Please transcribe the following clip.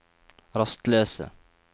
rastløse